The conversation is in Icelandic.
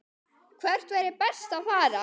Hvert væri best að fara?